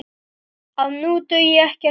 að nú dugi ekkert kák!